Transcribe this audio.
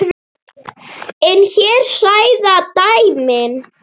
En hér hræða dæmin.